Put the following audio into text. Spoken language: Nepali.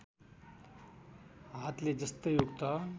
हातले जस्तै उक्त